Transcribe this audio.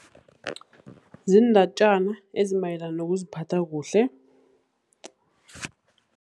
Ziindatjana ezimayelana nokuziphatha kuhle.